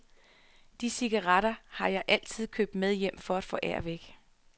De cigaretter har jeg altid købt med hjem for at forære væk.